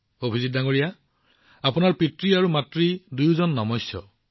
অভিজিতজী আপোনাৰ দেউতাক আৰু মাতৃ দুয়ো সন্মানৰ অধিকাৰী